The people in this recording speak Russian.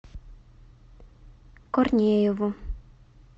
корнееву